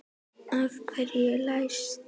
Af hverju er læst?